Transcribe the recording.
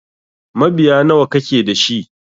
Mabiya nawa kake dashi?